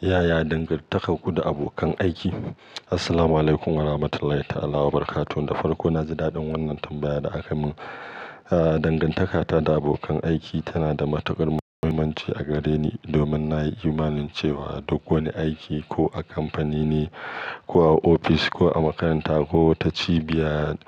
Yaya dangantakar ku da abokan aiki? Assalamu alaikum warahmatullahi ta'ala wabarakatuh. Da farko, na ji daɗin wannan tambayar da aka yi min. Ah, dangantaka ta da abokan aiki tana da matukar muhimmanci a gare ni domin na yi imanin cewa duk wani aiki, ko a kamfani ne, ko a ofis, ko a makaranta, ko wata cibiya,